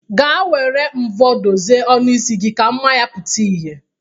Gaa were mvọ dozie ọnụ isi gi ka mma ya pụta ihe.